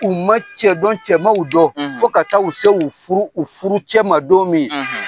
U ma cɛ dɔn cɛ ma u dɔn fo ka taa u se u furu furucɛ ma don min